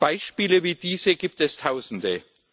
Beispiele wie dieses gibt es Tausende.